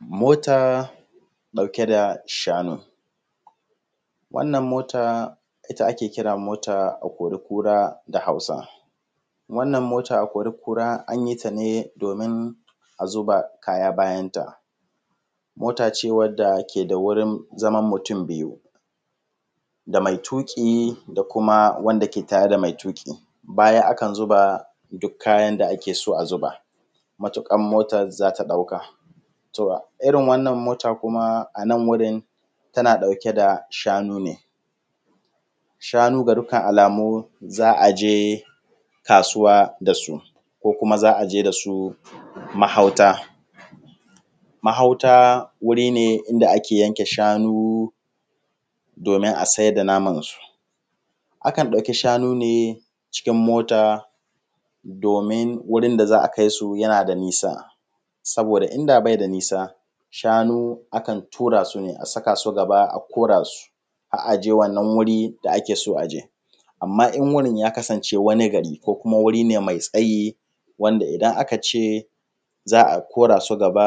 Mota ɗauke da shanun, wannan mota ita ake kira mota akorikura da Hausa wannan mota akorikura an yi ta ne domin a zuba kaya, bayanta mota ce wanda ke da wurin zaman mutum biyu da mai tuƙi da kuma wanda ke tare da mai tuƙi, baya akan zuba duk kayan da ake so a zuba matuƙar motan za ta ɗauka. Irin wannan motan kuma a nan wurin tana ɗauke da shanu ne, shanu ga dukkan alamu za a je kasuwa da su ko kuma za a je da su mahauta. Mahauta wuri ne da ake sai da shanu domin a siyar da namansu akan ɗauki shanu ne cikin mota domin wurin da za a kai su yana da nisa, saboda inda bai da nisa shanu akan tura su ne a saka su gaba a kora su har a je wannan wuri da ake so a je. Amma in wurin ya kasance wani gari ko kuma wani wuri ne mai tsayi wanda idan aka ce za a kora su gaba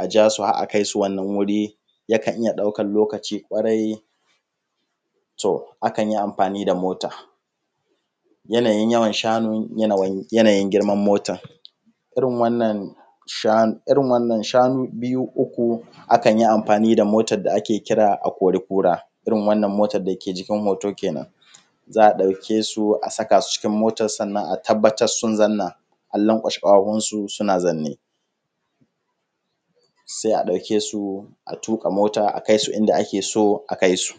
a ja su har a kai, su wannan wuri yakan iya ɗaukan lokaci kwarai. To, akan yi amfani da mota, yanayin yawan shanun yanayin girman motan, irin wannan shanun biyu, uku akan yi amfani da motan da ake kira akorikura, irin wannan motan da ke jikin hoto kenan za a ɗauke su a saka su a cikin motan, sannan a tabbatar sun zauna, an lankwashe ƙafafunsu, suna zaune sai a ɗauke su a tuƙa mota a kai su inda ake so a kai su.